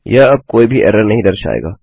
यह अब कोई भी एरर नहीं दर्शाएगा